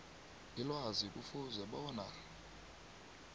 ilwazi kufuze bona